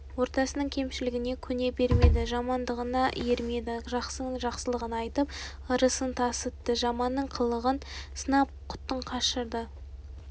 ортасының кемшілігіне көне бермеді жамандығына ермеді жақсының жақсылығын айтып ырысын тасытты жаманның қылығын сынап құтын қашырды